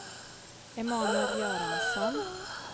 Emanuel Göransson